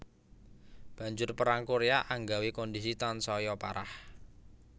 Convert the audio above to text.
Banjur Perang Koréa anggawé kondhisi tansaya parah